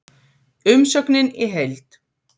Umsögnin í heild